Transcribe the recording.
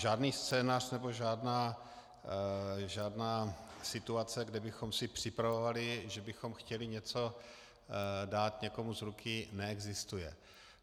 Žádný scénář nebo žádná situace, kde bychom si připravovali, že bychom chtěli něco dát někomu z ruky, neexistuje.